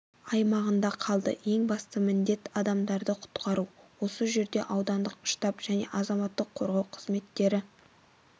аймағында қалды ең басты міндет адамдарды құтқару осы жерде аудандық штаб және азаматтық қорғау қызметтері